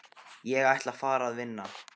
Ég ætla að fara að vinna